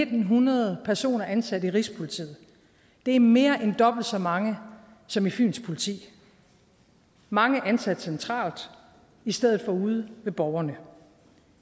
ni hundrede personer ansat i rigspolitiet det er mere end dobbelt så mange som i fyns politi mange er ansat centralt i stedet for ude ved borgerne